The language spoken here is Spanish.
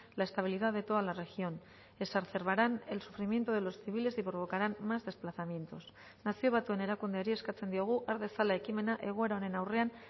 la estabilidad de toda la región exacerbarán el sufrimiento de los civiles y provocarán más desplazamientos nazio batuen erakundeari eskatzen diogu har dezala ekimena egoera honen aurrean